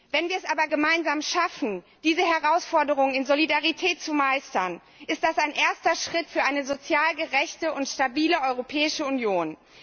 Wenn wir es aber gemeinsam schaffen, diese Herausforderung in Solidarität zu meistern, ist das ein erster Schritt für eine sozial gerechte und stabile Europäische Union.